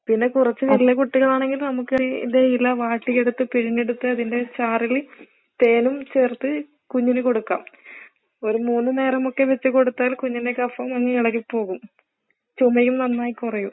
പിന്നെ കുറച്ച് വലിയ കുട്ടികളാണെങ്കിൽ നമുക്ക് ഇത് ഇല വാട്ടിയെടുത്തിട്ട് പിഴിഞ്ഞെടുത്ത് അതിൻ്റെ ചാറിൽ തേനും ചേർത്ത് കുഞ്ഞിന് കൊടുക്കാം, ഒരു മൂന്ന് നേരമൊക്കെ വെച്ച് കൊടുത്താൽ കുഞ്ഞിൻ്റെ കഫം അങ്ങ് ഇളകി പോകും. ചുമയും നന്നായി കുറയും.